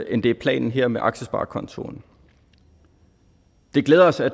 end det er planen her med aktiesparekontoen det glæder os at